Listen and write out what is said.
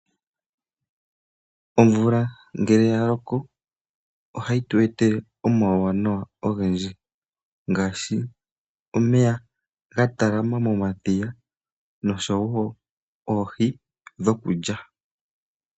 Omvula ngele yaloko ohayi tu etele omauwanawa ogendji ngaashi omeya gatalama momadhiya nosho woo oohi dhokulya.